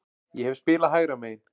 Ég hef spilað hægra megin.